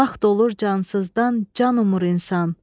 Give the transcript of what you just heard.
Vaxt olur cansızdan can umur insan.